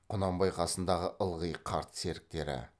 құнанбай қасындағы ылғи қарт серіктері